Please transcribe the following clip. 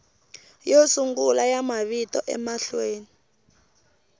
yo sungula ya mavito emahlweni